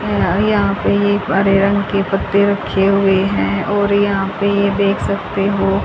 यह यहां पे ये हरे रंग के पत्ते रखे हुए हैं और यहां पे ये देख सकते हो।